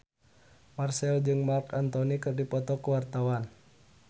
Marchell jeung Marc Anthony keur dipoto ku wartawan